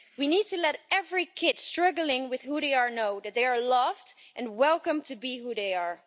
We need to let every kid struggling with who they are know that they are loved and welcome to be who they are.